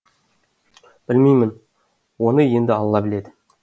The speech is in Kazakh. білмеймін оны енді алла біледі